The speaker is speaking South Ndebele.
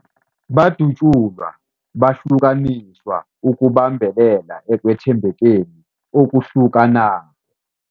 Badatjulwa, bahlukaniswa ukubambelela ekwethembekeni okuhlukanako.